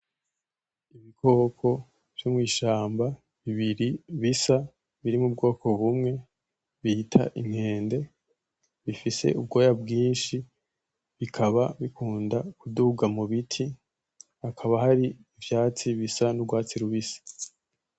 Ibikoko vyo mwishamba biri bisa biri mubwoko bumwe bita inkende bifise ubwoya bwishi bikaba bikunda kuduga mubiti ,hakaba hari ivyatsi bisa n'urwatsi rubisi